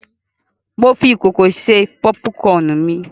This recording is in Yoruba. Mo fi ìkòkò ṣe pọ́púkọnù mi.